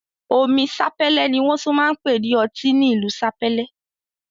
Omi Sapele ni won tun npe ni oti ni ilu Sapele